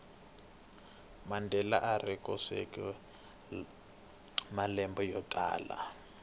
mandela arikhotsweni malembe yotala